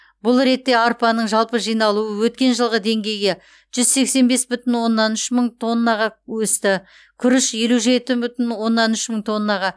бұл ретте арпаның жалпы жиналуы өткен жылғы деңгейге жүз сексен бес бүтін оннан үш мың тоннаға өсті күріш елу жеті бүтін оннан үш мың тоннаға